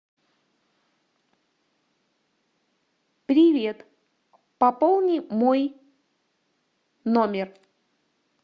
привет пополни мой номер